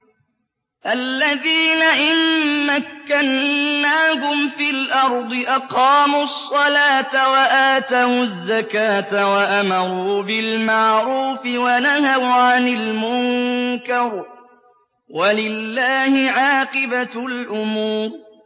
الَّذِينَ إِن مَّكَّنَّاهُمْ فِي الْأَرْضِ أَقَامُوا الصَّلَاةَ وَآتَوُا الزَّكَاةَ وَأَمَرُوا بِالْمَعْرُوفِ وَنَهَوْا عَنِ الْمُنكَرِ ۗ وَلِلَّهِ عَاقِبَةُ الْأُمُورِ